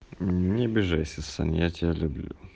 не обижайся сань я тебя люблю